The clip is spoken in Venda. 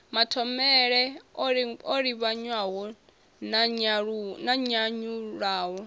mathomele o livhanywa na nyanyulaho